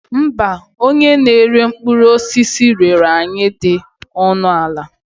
Mba, onye na-ere mkpụrụ osisi rere anyụ dị ọnụ ala.